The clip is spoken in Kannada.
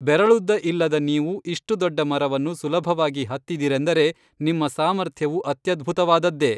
ಬೆರಳುದ್ದ ಇಲ್ಲದ ನೀವು ಇಷ್ಟು ದೊಡ್ಡ ಮರವನ್ನು ಸುಲಭವಾಗಿ ಹತ್ತಿದಿರೆಂದರೆ ನಿಮ್ಮ ಸಾಮಾರ್ಥ್ಯವು ಅತ್ಯದ್ಭುತವಾದದ್ದೇ